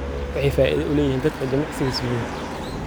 Waxay faa'iido u leeyihiin dadka jimicsiga sameeya.